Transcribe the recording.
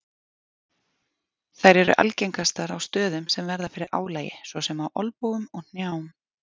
Þær eru algengastar á stöðum sem verða fyrir álagi svo sem á olnbogum og hnjám.